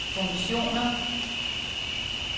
funktioner